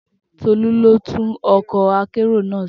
Tolú ló tún ọkọ̀ akérò náà ṣe